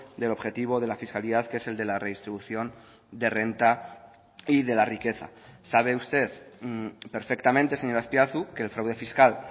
del objetivo de la fiscalidad que es el de la redistribución de renta y de la riqueza sabe usted perfectamente señor azpiazu que el fraude fiscal